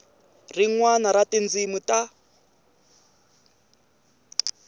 rin wana ra tindzimi ta